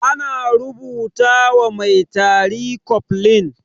Ana rubuta wa mai tari cofflin.